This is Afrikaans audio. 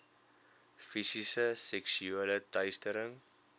fisiese seksuele teistering